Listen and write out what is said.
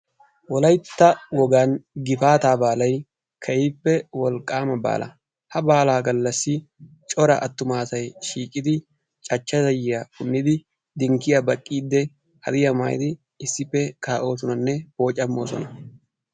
Wolaytta wogan gifaataa baalayi keehippe wolqqaama baala. Ha baalaa gallassan cora attuma asayi shiiqidi cachcha zayyiya punnidi kushiya baqqiiddi hadiya maayidi issippe kaa"oosonanne wocamoosona.